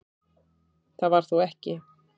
Það var þó ekki